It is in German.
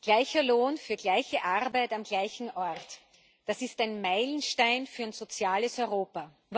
Gleicher Lohn für gleiche Arbeit am gleichen Ort das ist ein Meilenstein für ein soziales Europa.